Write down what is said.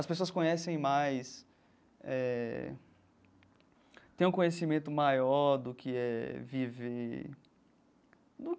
As pessoas conhecem mais eh, têm um conhecimento maior do que é viver.